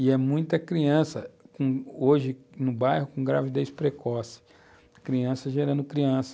E é muita criança com, hoje no bairro com gravidez precoce, criança gerando criança.